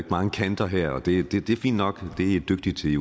mange kanter her og det er fint nok det er i dygtige til i